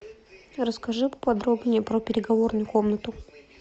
расскажи поподробнее про переговорную комнату